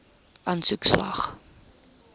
aansoek slaag